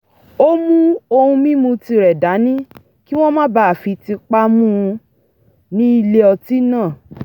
ó mú ohun mímu tirẹ̀ dání kí wọ́n má bàa fi tipá mú u ní ilé ọtí náà